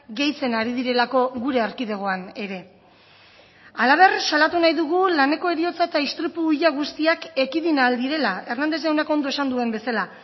gehitzen ari direlako gure erkidegoan ere halaber salatu nahi dugu laneko heriotza eta istripu ia guztiak ekidin ahal direla hernández jaunak ondo esan duen bezala